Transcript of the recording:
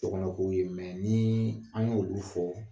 Dɔ kana k'u ye nii an y'olu fɔ